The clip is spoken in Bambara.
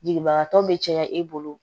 Jigibagatɔ bɛ caya i bolo